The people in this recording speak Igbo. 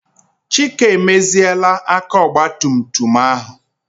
Chike emeziela aka ogbatumtum ahụ.